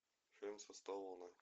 фильм со сталлоне